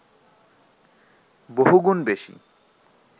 বহুগুণ বেশি